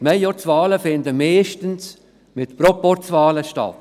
Majorzwahlen finden meistens zusammen mit Proporzwahlen statt.